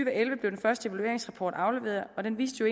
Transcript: og elleve blev den første evalueringsrapport afleveret og den viste jo